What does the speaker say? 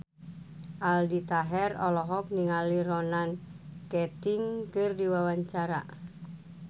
Aldi Taher olohok ningali Ronan Keating keur diwawancara